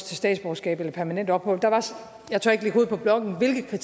til statsborgerskab eller permanent ophold jeg tør ikke lægge hovedet på blokken hvilke